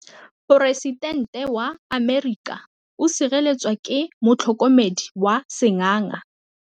Poresitêntê wa Amerika o sireletswa ke motlhokomedi wa sengaga.